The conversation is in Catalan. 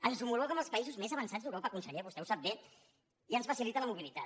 ens homologa amb els països més avançats d’europa conseller vostè ho sap bé i ens facilita la mobilitat